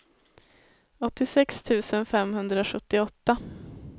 åttiosex tusen femhundrasjuttioåtta